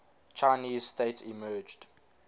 chinese state emerged